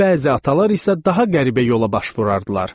Bəzi atalar isə daha qəribə yola baş vurardılar.